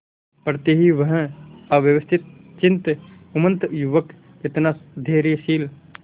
पड़ते ही वह अव्यवस्थितचित्त उन्मत्त युवक कितना धैर्यशील